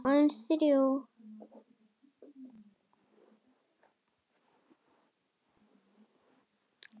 Aðeins þrjú.